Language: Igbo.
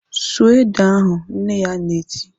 "Sụọ ede ahụ!" Nne ya na-eti